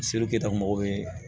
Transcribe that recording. mɔgɔw bɛ